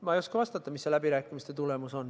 Ma ei oska vastata, milline on läbirääkimiste tulemus.